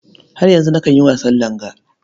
Har yanzu nakan yi wasan langa.